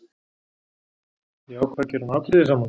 Ég ákvað að gera hann afbrýðisaman.